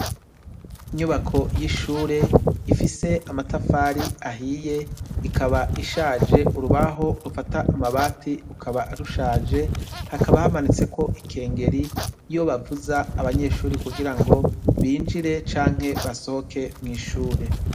Inyubako y'ishure ifise amatafari ahiye ikaba ishaje, urubaho rufata amabati rukaba rushaje, hakaba hamanitseko ikengeri iyo bavuza abanyeshure kugira ngo binjire canke basohoke mw'ishure.